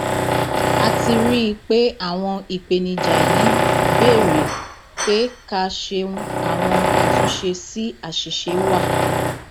ó um ní ṣíṣe irú iṣẹ tó tọnà bẹẹ yóò jẹ kí wọn bẹrẹ sí í gbé um ìgbé ayé ọtún